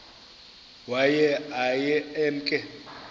waye aye emke